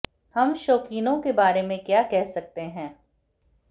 हम शौकीनों के बारे में क्या कह सकते हैं